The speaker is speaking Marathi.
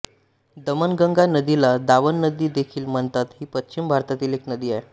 दमणगंगा नदीला दावण नदी देखील म्हणतात ही पश्चिम भारतातील एक नदी आहे